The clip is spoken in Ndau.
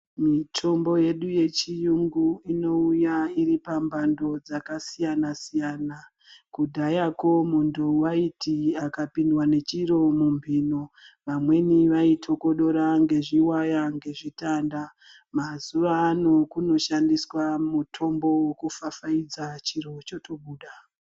Mitomho yedu yechiyungu inouya iri pamhando dzakasiyana siyana. Kudhayako muntu waiti akapindwa nechiro mumhino vamweni vaithokodora ngezviwaya ngezvitanda mazuwa ano kunoshandiswa mutombo wekufafaidza chiro chotobuda.